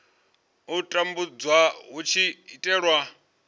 u tumbulwa hu tshi itelwa